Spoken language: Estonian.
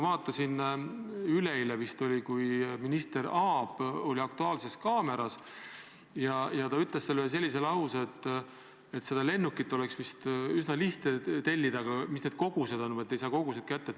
Vist üleeile oli minister Aab "Aktuaalses kaameras" ja ta ütles seal lause, et lennukit oleks vist üsna lihtne tellida, aga vajalikke koguseid lihtsalt ei saa kätte.